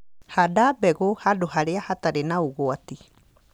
Handa mbegũ handũ harĩa hatarĩ na ũgwati